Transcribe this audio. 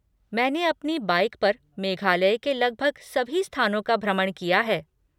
मैंने अपनी बाइक पर मेघालय के लगभग सभी स्थानों का भ्रमण किया है।